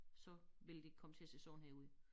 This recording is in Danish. Så vil det komme til at se sådan her ud